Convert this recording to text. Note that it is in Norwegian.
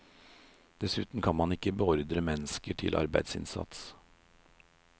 Dessuten kan man ikke beordre mennesker til arbeidsinnsats.